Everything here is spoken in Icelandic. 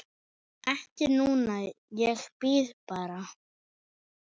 Ekki núna, ég bíð bara.